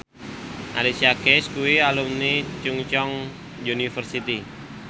Alicia Keys kuwi alumni Chungceong University